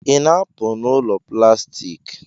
Ị na-apụ n'ụlọ plastik?